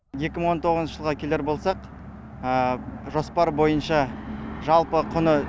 екі мың он тоғызыншы жылға келер болсақ жоспар бойынша жалпы құны